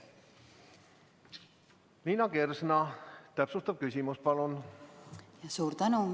Liina Kersna, täpsustav küsimus palun!